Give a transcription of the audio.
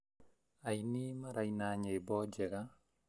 Aini maraina nyimbo njega